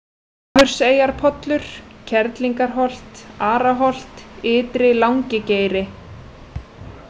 Hafurseyjarpollur, Kerlingarholt, Araholt, Ytri-Langigeiri